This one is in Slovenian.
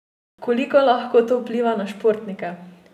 Koliko lahko to vpliva na športnike?